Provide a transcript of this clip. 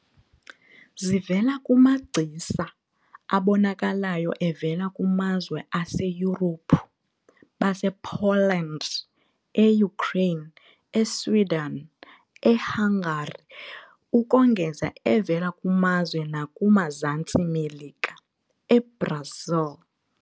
Zivela kumagcisa abonakalayo evela kumazwe aseYurophu- basePoland, eUkraine, eSwiden, eHangari ukongeza evela kumazwe nakuZantsi Melika- eBrasil.